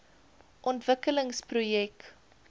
ontwikkelingsprojek